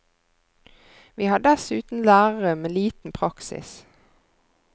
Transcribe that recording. Vi har dessuten lærere med liten praksis.